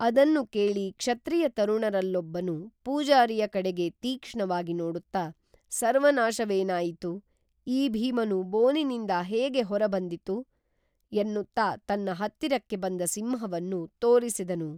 ಅದನ್ನು ಕೇಳಿ ಕ್ಷತ್ರಿಯ ತರುಣರಲ್ಲೊಬ್ಬನು ಪೂಜಾರಿಯ ಕಡೆಗೆ ತೀಕ್ಷ್ಣವಾಗಿ ನೋಡುತ್ತಾ ಸರ್ವನಾಶವೇನಾಯಿತು, ಈ ಭೀಮನು ಬೋನಿನಿಂದ ಹೇಗೆ ಹೊರ ಬಂದಿತು, ಎನ್ನುತ್ತಾ ತನ್ನ ಹತ್ತಿರಕ್ಕೆ ಬಂದ ಸಿಂಹವನ್ನು ತೋರಿಸಿದನು